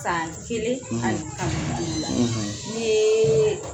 San kelen a ani kalo duuru n'i yee